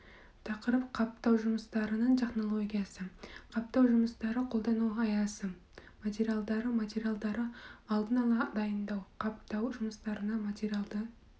тақырып қаптау жұмыстарының технологиясы қаптау жұмыстары қолдану аясы материалдары материалдарды алдын ала дайындау қаптау жұмыстарына материадарды